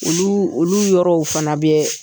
Olu olu yɔrɔw fana bɛ